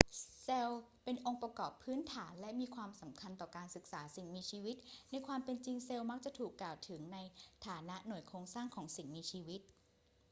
เซลล์ เป็นองค์ประกอบพื้นฐานและมีความสำคัญต่อการศึกษาสิ่งมีชีวิต ในความเป็นจริงเซลล์มักจะถูกกล่าวถึงในฐานะ หน่วยโครงสร้างของสิ่งมีชีวิต